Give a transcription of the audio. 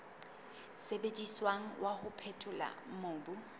sebediswang wa ho phethola mobu